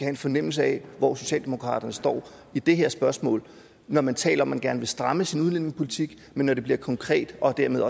en fornemmelse af hvor socialdemokratiet står i det her spørgsmål når man taler man gerne vil stramme sin udlændingepolitik men når det bliver konkret og dermed